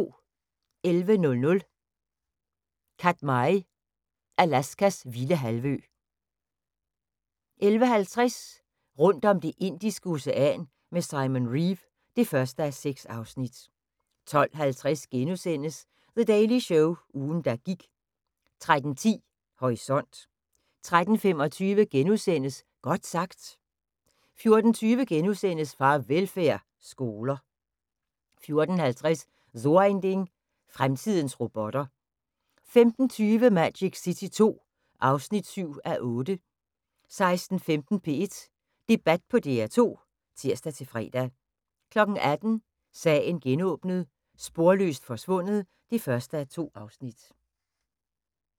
11:00: Katmai – Alaskas vilde halvø 11:50: Rundt om Det indiske Ocean med Simon Reeve (1:6) 12:50: The Daily Show – ugen der gik * 13:10: Horisont 13:35: Godt sagt * 14:20: Farvelfærd: Skoler * 14:50: So ein Ding: Fremtidens robotter 15:20: Magic City II (7:8) 16:15: P1 Debat på DR2 (tir-fre) 18:00: Sagen genåbnet: Sporløst forsvundet (1:2)